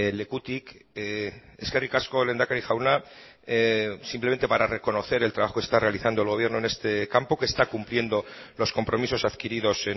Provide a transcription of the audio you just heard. lekutik eskerrik asko lehendakari jauna simplemente para reconocer el trabajo que está realizando el gobierno en este campo que está cumpliendo los compromisos adquiridos